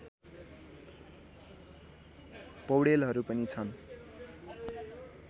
पौडेलहरू पनि छन्